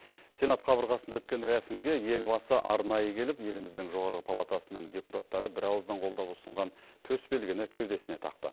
сенат қабырғасында өткен рәсімге елбасы арнайы келіп еліміздің жоғары палатасының депутаттары бірауыздан қолдап ұсынған төсбелгіні кеудесіне тақты